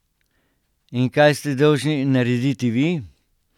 In kaj ste dolžni narediti vi?